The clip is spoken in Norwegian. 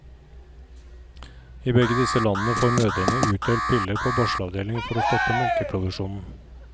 I begge disse landene får mødrene utdelt piller på barselavdelingen for å stoppe melkeproduksjonen.